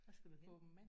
Hvor skal du hen?